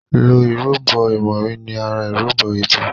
ló ìrúbo imori ní àrà ìrúbo ibí.